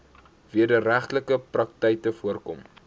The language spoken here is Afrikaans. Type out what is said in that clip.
wederregtelike praktyke voorkom